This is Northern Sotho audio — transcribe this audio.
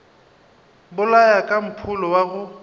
bolaya ka mpholo wa go